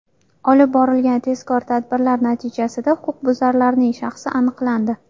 Olib borilgan tezkor tadbirlar natijasida huquqbuzarning shaxsi aniqlandi.